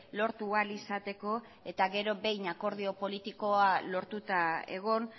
lortu ahal izateko eta gero behin akordio politikoa lortuta egon